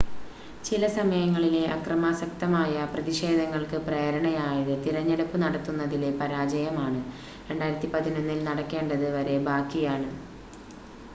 ചില സമയങ്ങളിലെ അക്രമാസക്തമായ പ്രതിഷേധങ്ങൾക്ക് പ്രേരണയായത് തിരഞ്ഞെടുപ്പ് നടത്തുന്നതിലെ പരാജയമാണ് 2011-ൽ നടക്കേണ്ടത് വരെ ബാക്കിയാണ്